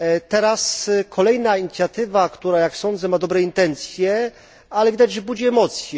Teraz kolejna inicjatywa, która jak sądzę ma dobre intencje, ale jak widać budzi emocje.